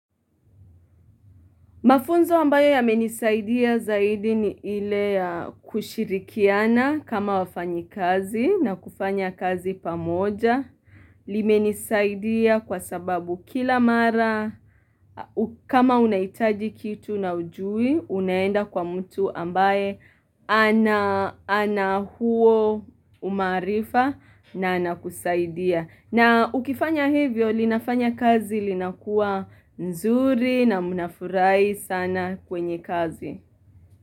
Mafunzo ambayo yamenisaidia zaidi ni ile ya kushirikiana kama wafanyi kazi na kufanya kazi pamoja limenisaidia kwa sababu kila mara kama unahitaji kitu na hujui Unaenda kwa mtu ambaye anahuo umaarifa na anakusaidia na ukifanya hivyo, linafanya kazi linakuwa nzuri na mnafurahi sana kwenye kazi.